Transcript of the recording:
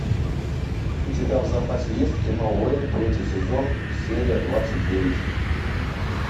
у тебя в запасе есть кино уэйн третий сезон серия двадцать девять